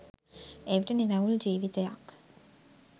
එවිට නිරවුල් ජීවිතයක්